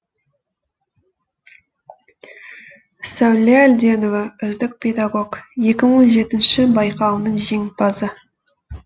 сәуле әлденова үздік педагог екі мың он жетінші байқауының жеңімпазы